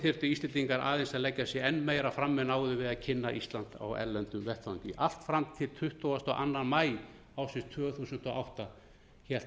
þyrftu íslendingar aðeins að leggja sig enn meira fram en áður við að kynna ísland á erlendum vettvangi allt fram til tuttugasta og annan maí ársins tvö þúsund og átta hélt